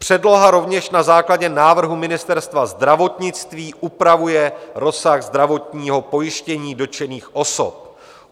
Předloha rovněž na základě návrhu Ministerstva zdravotnictví upravuje rozsah zdravotního pojištění dotčených osob.